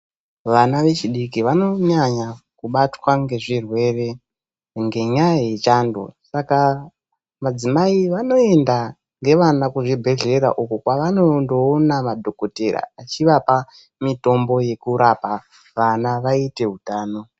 Vana vechidiki vanonyanya kubatwa ngezvirwere ngenyaya yechando Saka madzimai anoenda nevana kuzvibhedhlera uko kwavanoona madhokodheya vachivapa mitombo yekurapa vana vaite hutano.